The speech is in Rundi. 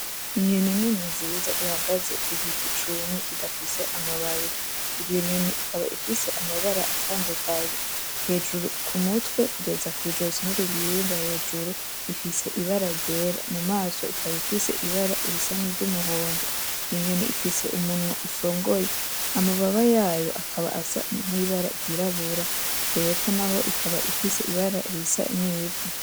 Inyoni nini nziza ihagaze kugiti cumye kidafise amababi, iyo inyoni ikaba ifise amabara atandukanye hejuru kumutwe kugeza kw'ijosi no kugihimba hejuru ifise ibara ryera, mamaso ikaba ifise ibara risa niry'umuhondo, inyoni ifise umunwa usongoye, amababa yayo akaba Asa n' ibara ryirabura hepfo ikaba ifise ibara risa n'ivu